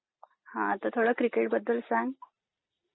हा तर थोडं क्रिकेटबद्दल सांग.